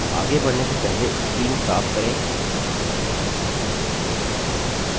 आगे बढ़ने से पहले screen साफ करें